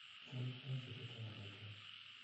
kialit penselit eng rotwee